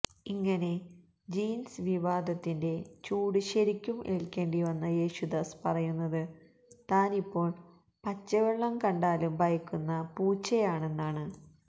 ഇങ്ങനെ ജീൻസ് വിവാദത്തിന്റെ ചൂട് ശരിക്കും ഏൽക്കേണ്ടി വന്ന യേശുദാസ് പറയുന്നത് താനിപ്പോൾ പച്ചവെള്ളം കണ്ടാലും ഭയക്കുന്ന പൂച്ചയാണെന്നാണ്